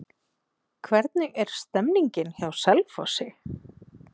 Hvernig er stemningin hjá Selfossi?